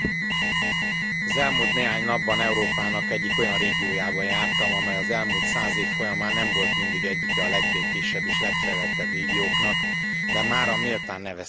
Az elmúlt néhány napban Európának egyik olyan régiójában jártam, amely az elmúlt száz év folyamán nem volt mindig egyike a legbékésebb és legfejlettebb régióknak, de mára méltán nevezhetjük annak.